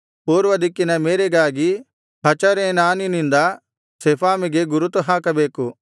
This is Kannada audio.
ಪೂರ್ವದಿಕ್ಕಿನ ಮೇರೆಗಾಗಿ ಹಚರೇನಾನಿನಿಂದ ಶೆಫಾಮಿಗೆ ಗುರುತು ಹಾಕಬೇಕು